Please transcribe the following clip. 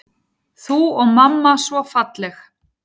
Þú og mamma svo falleg.